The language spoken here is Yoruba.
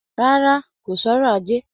Rárá, kò sọrọ̀ ajé